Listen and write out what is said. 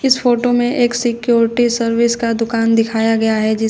इस फोटो में एक सिक्योरिटी सर्विस का दुकान दिखाया गया है जिसके--